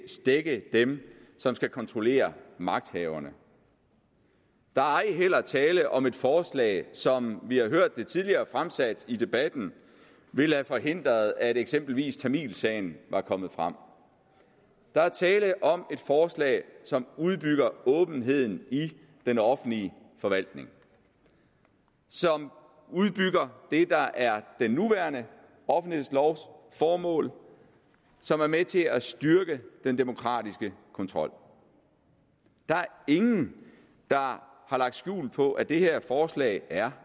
stække dem som skal kontrollere magthaverne der er ej heller tale om et forslag som vi har hørt det tidligere fremsat i debatten ville have forhindret at eksempelvis tamilsagen var kommet frem der er tale om et forslag som udbygger åbenheden i den offentlige forvaltning som udbygger det der er den nuværende offentlighedslovs formål og som er med til at styrke den demokratiske kontrol der er ingen der har lagt skjul på at det her forslag er